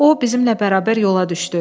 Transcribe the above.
O, bizimlə bərabər yola düşdü.